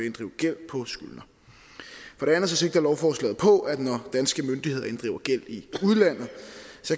inddrive gæld på skyldner for det andet sigter lovforslaget på at når danske myndigheder inddriver gæld i udlandet